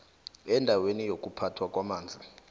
endaweni yokuphathwa kwamanzi